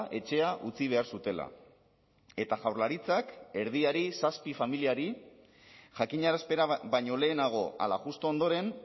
etxea utzi behar zutela eta jaurlaritzak erdiari zazpi familiari jakinarazpena baino lehenago ala justu ondoren